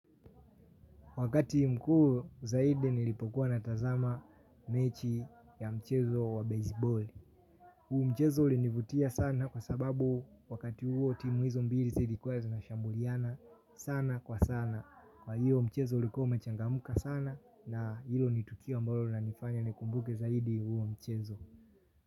Wakati mkuu zaidi nilipokuwa na tazama mechi ya mchezo wa baseball. Huu mchezo ulinivutia sana kwa sababu wakati huo timu hizo mbili zilikuwe zina shambuliana sana kwa sana. Kwa hiyo mchezo ulikuwa umechangamka sana. Na hilo ni tukio ambalo linanifanya nikumbuke zaidi huo mchezo.